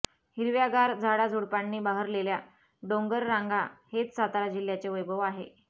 हिरव्यागार झाडाझुडपांनी बहरलेल्या डोंगररांगा हेच सातारा जिल्ह्याचे वैभव आहे